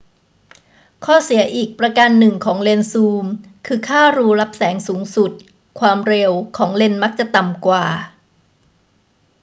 ข้อเสียอีกประการหนึ่งของเลนส์ซูมคือค่ารูรับแสงสูงสุด ความเร็ว ของเลนส์มักจะต่ำกว่า